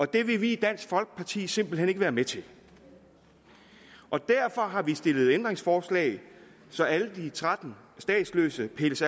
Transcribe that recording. det vil vi i dansk folkeparti simpelt hen ikke være med til og derfor har vi stillet et ændringsforslag så alle de tretten statsløse pilles